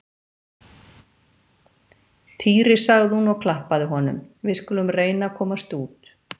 Týri sagði hún og klappaði honum, við skulum reyna að komast út